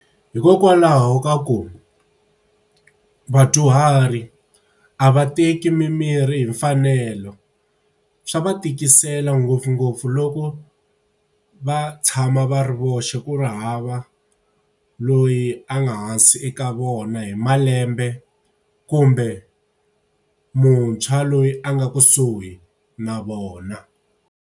Hikokwalaho ka ku, vadyuhari a va teki mimirhi hi mfanelo. Swa va tikisela ngopfungopfu loko va tshama ma va ri voxe ku nga hava loyi a nga hansi eka vona hi malembe kumbe muntshwa loyi a nga kusuhi na vona.